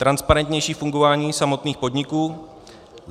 Transparentnější fungování samotných podniků.